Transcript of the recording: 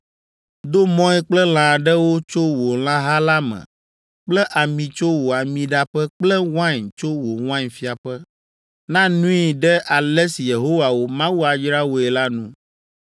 Do mɔe kple lã aɖewo tso wò lãha la me kple ami tso wò amiɖaƒe kple wain tso wò wainfiaƒe. Na nui ɖe ale si Yehowa wò Mawu ayra wòe la nu.